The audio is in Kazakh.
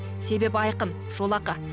себебі айқын жолақы